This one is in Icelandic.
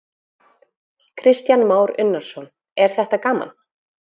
Kristján Már Unnarsson: Er þetta gaman?